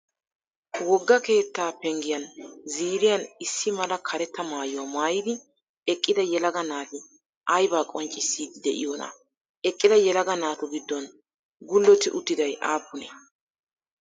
Wogga keettaa penggiyan ziiriyan issi mala karetta maayuwaa maayidi eqqida yelaga naati ayibaa qonccissiiddi de'iyoonaa? Eqqida yelaga naatu giddon gullotti uttidayi aappunee?